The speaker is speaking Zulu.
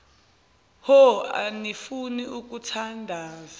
hho anifuni ukuthandaza